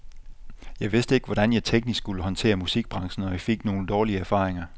Jeg vidste ikke, hvordan jeg teknisk skulle håndtere musikbranchen, og jeg fik nogle dårlige erfaringer.